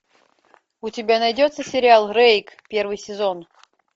у тебя найдется сериал рейк первый сезон